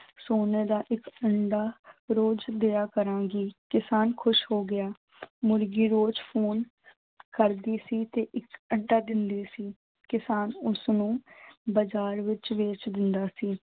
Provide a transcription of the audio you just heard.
ਸੋਨੇ ਦਾ ਇੱਕ ਅੰਡਾ ਰੋਜ਼ ਦਿਆ ਕਰਾਂਗੀ, ਕਿਸਾਨ ਖ਼ੁਸ਼ ਹੋ ਗਿਆ ਮੁਰਗੀ ਰੋਜ਼ phone ਕਰਦੀ ਸੀ ਤੇ ਇੱਕ ਅੰਡਾ ਦਿੰਦੀ ਸੀ, ਕਿਸਾਨ ਉਸਨੂੰ ਬਾਜ਼ਾਰ ਵਿੱਚ ਵੇਚ ਦਿੰਦਾ ਸੀ।